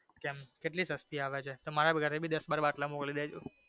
કેમ? કેટલી સસ્તી આવે છે તો મારી ઘરે ભી દસ બાર બાટલા મોકલી દેજો.